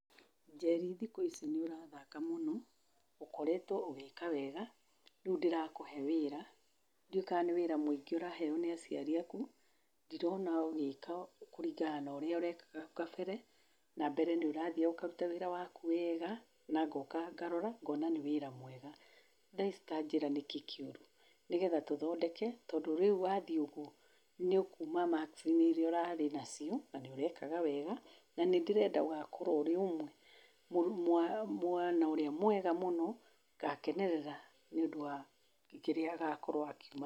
Njeri thikũ ici nĩ ũrathaka mũno! ũkoretwo ũgĩĩka wega, rĩu ndĩrakũhe wĩra, ndiũĩ kana nĩ wĩra mũingĩ ũraheo nĩ aciari aaku? Ndirona ũgĩĩka kũringana na ũrĩa ũrekaga hau kabere na mbere nĩ ũrathiaga ũkaruta wĩra waku wegaa na ngoka ngarora ngona nĩ wĩra mwega. Thaa ici tanjĩra nĩkĩĩ kĩũru. Nigetha tũthondeke, tondũ rĩu wathiĩ ũũguo nĩ ũkuuma maksi-inĩ iria ũrarĩ nacio na nĩ ũreakaga wega na nĩ ndĩrenda ũgakorwo ũrĩ mwana ũrĩa mwega mũno, ngakenerera nĩ ũndũ wa kĩrĩa agokorwo akĩgĩa.